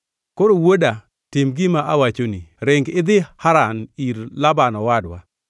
Koro wuoda, tim gima awachoni: Ring idhi Haran ir Laban owadwa.